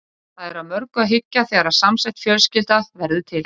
Það er að mörgu að hyggja þegar samsett fjölskylda verður til.